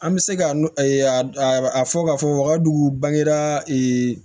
An bɛ se ka n'a a fɔ k'a fɔ wakadugu bangeda